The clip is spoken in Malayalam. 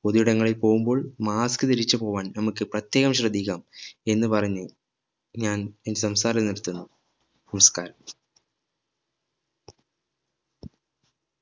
പൊതു ഇടങ്ങളിൽ പോകുമ്പോൾ mask ധരിച്ച് പോകാൻ നമ്മക് പ്രത്യേകം ശ്രദ്ധിക്കാം എന്ന് പറഞ്ഞു ഞാൻ ഈ സംസാരം നിർത്തുന്നു. നമസ്കാരം